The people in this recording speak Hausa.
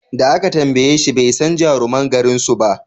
Da aka tambayeshi bai san jaruman garin suba